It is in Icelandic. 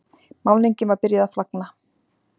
Málningin var byrjuð að flagna.